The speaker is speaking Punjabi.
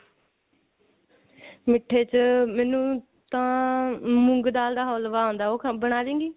ਮਿੱਠੇ ਚ ਮੈਨੂੰ ਤਾਂ ਮੂੰਗ ਦਾਲ ਦਾ ਹਲਵਾ ਆਉਂਦਾ ਉਹ ਬਣਾ ਲੇਂਗੀ